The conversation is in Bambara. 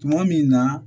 Tuma min na